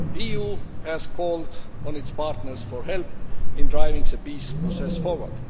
The EU has called on its partners for help in driving the peace process forward.